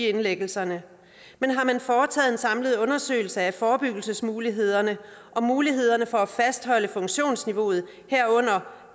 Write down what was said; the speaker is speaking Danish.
af indlæggelser men har man foretaget en samlet undersøgelse af forebyggelsesmulighederne og mulighederne for at fastholde funktionsniveauet herunder